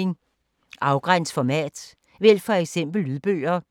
Afgræns format: vælg for eksempel lydbøger